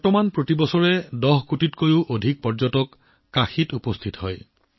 এতিয়া প্ৰতি বছৰে ১০ কোটিৰো অধিক পৰ্যটক কাশীত উপস্থিত হৈছে